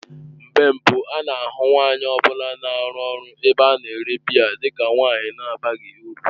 Mgbe mbụ a na-ahụ nwanyị ọ bụla na-arụ ọrụ n'ebe a na-ere biya dị ka nwanyị na-abaghị uru.